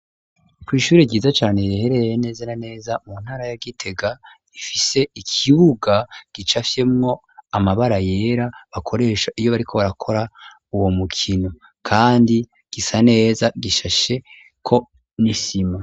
Kw'ishuri ryiza cane riherereye neze na neza mu ntara ya Gitega ifise ikibuga gicafyemwo amabara yera bakoresha iyo bariko barakora uwo mukino kandi gisa neza gishashe ko n'isima.